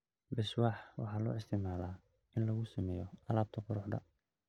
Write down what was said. Beeswax waxaa loo isticmaalaa in lagu sameeyo alaabta quruxda.